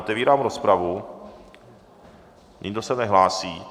Otevírám rozpravu, nikdo se nehlásí.